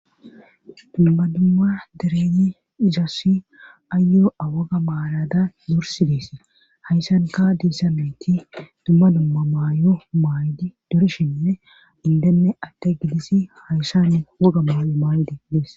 dumma dumma dereyi isass ayoo7awaga maalada dorsides hayssan ka diissameti dumma dumma maayo maayd dorshine indenne atte gidisi hayssan woga maayo maayde dees